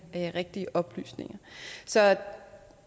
de rigtige oplysninger så